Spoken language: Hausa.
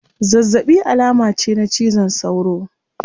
Zazzabi alama ce na cizon sauro